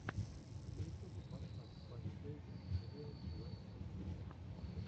на ютубе поставь фанни бэйби ин риал лайф фо кидс